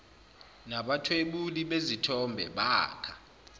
nabathwebuli bezithombe bakha